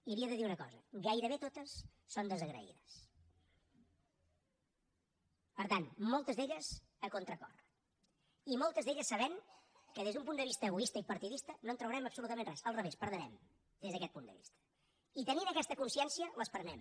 i li he de dir una cosa gairebé totes són desagraïdes per tant moltes d’elles a contracor i moltes d’elles sabent que des d’un punt de vista egoista i partidista no en traurem absolutament res al revés hi perdrem des d’aquest punt de vista i tenint aquesta consciència les prenem